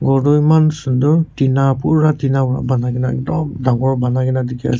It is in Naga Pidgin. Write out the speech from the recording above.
ghor toh eman sunder tina pura tina wra banaikae na dop dangor banaikaena.